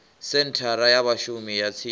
senthara ya vhashumi ya tsini